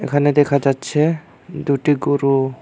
এখানে দেখা যাচ্ছে দুটি গরু।